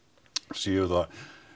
séu það